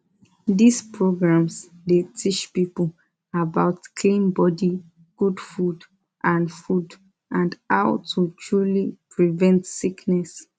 these programs dey teach people about clean body good food and food and how to truly prevent sickness